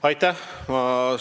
Aitäh!